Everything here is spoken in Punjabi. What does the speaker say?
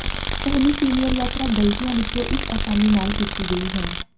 ਪਹਿਲੀ ਸੀਨੀਅਰ ਯਾਤਰਾ ਗਲਤੀਆਂ ਵਿੱਚੋਂ ਇੱਕ ਆਸਾਨੀ ਨਾਲ ਕੀਤੀ ਗਈ ਹੈ